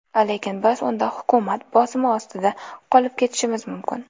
Lekin biz unda hukumat bosimi ostida qolib ketishimiz mumkin.